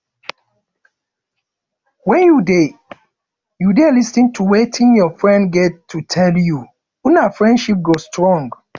wen you dey you dey lis ten to wetin your friend get to tell you una friendship go strong